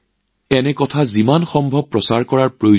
এনে উদাহৰণ যিমান পাৰি চৰ্চালৈ অনাৰ প্ৰয়োজন